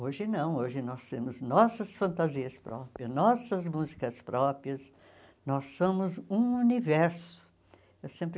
Hoje não, hoje nós temos nossas fantasias próprias, nossas músicas próprias, nós somos um universo. Eu sempre